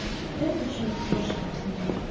да ничего страшного забей